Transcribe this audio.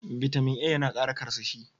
Bitamin A ya na Kara karsashi.